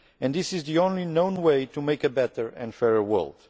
This is the only known way to make a better and fairer world.